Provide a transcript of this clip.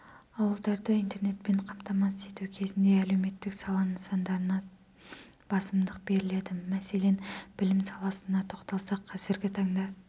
ауылдарды интернетпен қамтамасыз ету кезінде әлеуметтік сала нысандарына басымдық беріледі мәселен білім саласына тоқталсақ қазіргі таңда